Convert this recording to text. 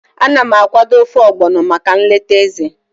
Ana m akwado ofe Ogbono maka nleta Eze.